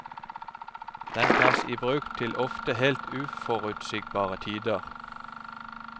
Den tas i bruk til ofte helt uforutsigbare tider.